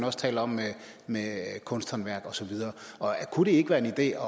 også taler om med kunsthåndværk og så videre kunne det ikke være en idé